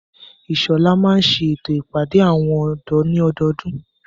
Ìṣọ̀là máa n ṣètò ìpàdé àwọn ọ̀dọ́ ní ọdọdún.